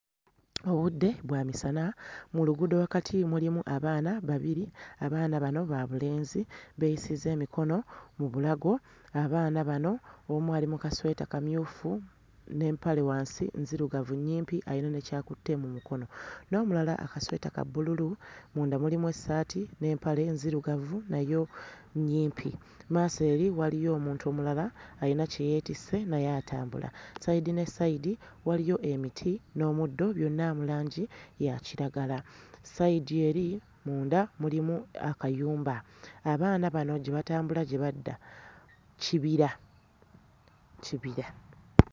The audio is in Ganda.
Obudde bwa misana, mu luguudo wakati mulimu abaana babiri, abaana bano ba bulenzi beeyisizza emikono mu bulago, abaana bano omu ali mu kasweeta kamyufu n'empale wansi nzirugavu nnyimpi ayina ne ky'akutte mu mukono, n'omulala akasweta ka bbululu munda mulimu essaati n'empala nzirugavu nayo nnyimpi, mmaaso eri waliyo omuntu omulala ayina kye yeetisse naye atambula, sayidi ne sayidi waliyo emiti n'omuddo byonna mu langi ya kiragala. Sayidi eri munda mulimu akayumba. Abaana bano gye batambula gye badda kibira, kibira.